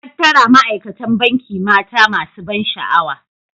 Hattara Ma'aikatan Banki mata masu ban sha'awa.